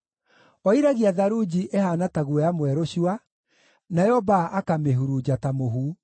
Oiragia tharunji ĩhaana ta guoya mwerũ cua, nayo mbaa akamĩhurunja ta mũhu.